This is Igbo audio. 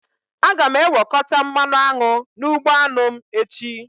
Aga m ewekọta mmanụ aṅụ n'ugbo anụ m echi